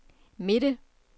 midte